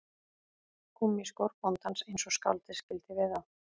Gúmmískór bóndans eins og skáldið skildi við þá